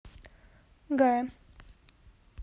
гая